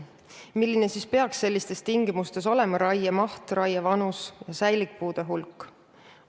Milline peaks sellistes tingimustes olema raiemaht, raievanus ja säilikpuude hulk?